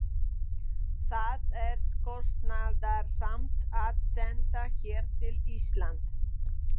Það er kostnaðarsamt að senda her til Íslands.